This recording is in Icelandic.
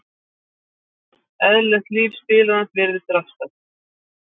Eðlilegt líf spilarans virðist raskast.